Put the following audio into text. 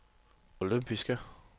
olympiske